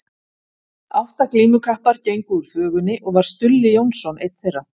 Átta glímukappar gengu úr þvögunni og var Stulli Jónsson einn þeirra.